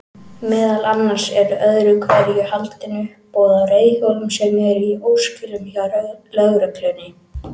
Meðal annars eru öðru hverju haldin uppboð á reiðhjólum sem eru í óskilum hjá lögreglunni.